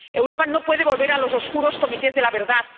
Europa no puede volver a los oscuros comités de la verdad.